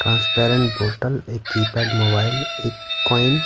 transparent bottle एककी -pad mobile एक coin --